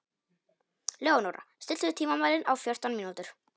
Leónóra, stilltu tímamælinn á fjórtán mínútur.